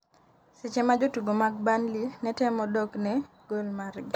seche ma jotugo mag Burnley ne temo dok ne gol margi